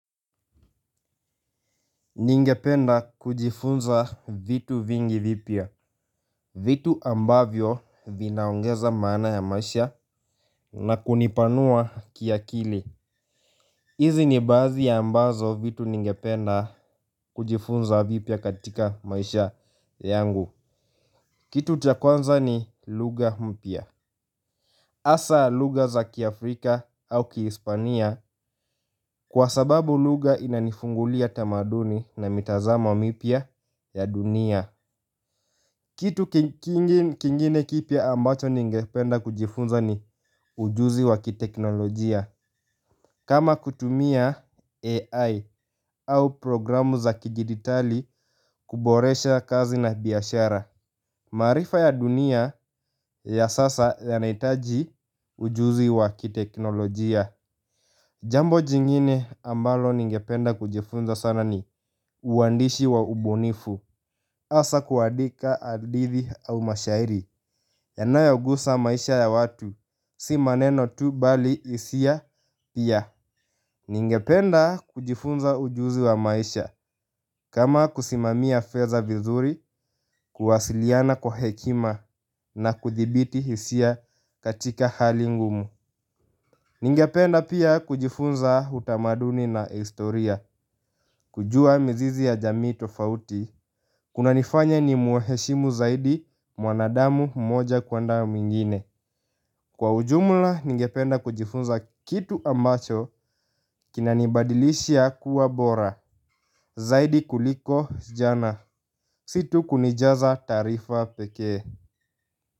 Ningependa kujifunza vitu vingi vipya. Vitu ambavyo vinaongeza maana ya maisha na kunipanua kiakili hizi ni baazi ya ambazo vitu ningependa kujifunza vipya katika maisha yangu. Kitu cha kwanza ni lugha mpya asa luga za kiafrika au kihispania. Kwa sababu lugha inanifungulia tamaduni na mitazamo wa mipya ya dunia. Kitu kingine kipya ambacho ningependa kujifunza ni ujuzi wa kiteknolojia. Kama kutumia AI au programu za kigiditali kuboresha kazi na biashara. Maarifa ya dunia ya sasa yanaitaji ujuzi wa kiteknolojia. Jambo jingine ambalo ningependa kujifunza sana ni uandishi wa ubunifu asa kuadika adithi au mashairi yanayogusa maisha ya watu. Si maneno tu bali isia pia. Ningependa kujifunza ujuzi wa maisha. Kama kusimamia feza vizuri. Kuwasiliana kwa hekima na kuthibiti hisia katika hali ngumu. Ningependa pia kujifunza utamaduni na historia. Kujua mzizi ya jamii tofauti kunanifanya nimuheshimu zaidi mwanadamu mmoja kuenda mwingine. Kwa ujumula ningependa kujifunza kitu ambacho kinanibadilisha kuwa bora zaidi kuliko jana. Si tu kunijaza taarifa pekee.